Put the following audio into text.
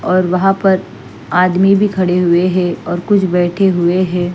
और वहाँ पर आदमी भी खड़े हुए हैं और कुछ बैठे हुए हैं।